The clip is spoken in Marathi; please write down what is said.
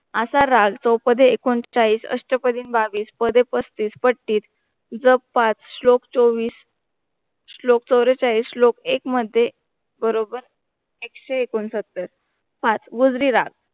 आशा राग चौपाध्ये एकोणचाळीस, अष्टपदीनं बावीस, पदे पस्तीस, पट्टीस, जप पाच, श्लोक चौवीस श्लोक चौवेचाळीस श्लोक एक मध्ये बरोबर एकशे एकोणसत्तर, पाच गुजरी राग